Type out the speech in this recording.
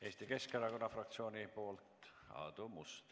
Eesti Keskerakonna fraktsiooni nimel Aadu Must.